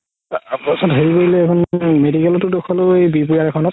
তাৰ পাছত হেৰি কৰিলে এখন medical তে দেখুৱালো খনত